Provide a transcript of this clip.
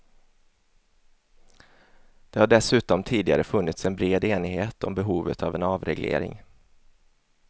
Det har dessutom tidigare funnits en bred enighet om behovet av en avreglering.